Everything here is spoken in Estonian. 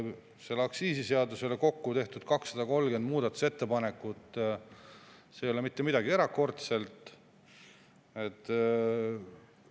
Selle aktsiisiseaduse kohta on kokku tehtud 230 muudatusettepanekut – see ei ole mitte midagi erakordset.